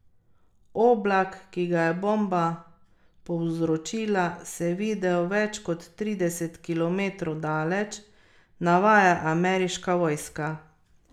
Oblak, ki ga je bomba povzročila, se je videl več kot trideset kilometrov daleč, navaja ameriška vojska.